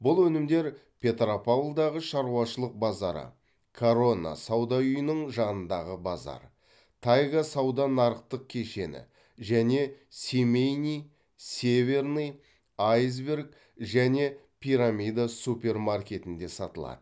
бұл өнімдер петропавлдағы шаруашылық базары корона сауда үйінің жанындағы базар тайга сауда нарықтық кешені және семейный северный айсберг және пирамида супермаркетінде сатылады